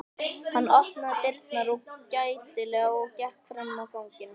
Hann opnaði dyrnar gætilega og gekk fram á ganginn.